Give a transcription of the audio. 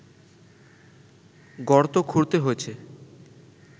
গর্ত খুঁড়তে হয়েছে